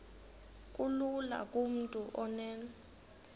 kulula kumntu onen